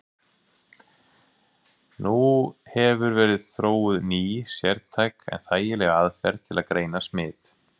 Nú hefur verið þróuð ný, sértæk en þægileg aðferð til að greina smit.